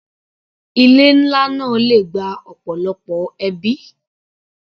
Ilé nlá náà le gba ọ̀pọ̀lọpọ̀ ẹbí.